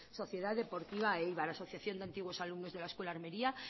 sociedad deportiva eibar asociación de antiguos alumnos de la escuela de armeria